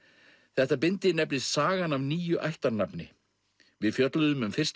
þetta bindi nefnist sagan af nýju ættarnafni við fjölluðum um fyrsta